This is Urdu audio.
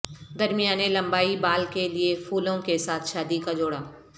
درمیانے لمبائی بال کے لئے پھولوں کے ساتھ شادی کا جوڑا